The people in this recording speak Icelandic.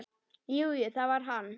Jú, jú, það var hann.